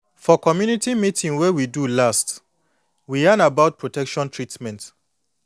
for community meeting wey we do last we yan about protection treatment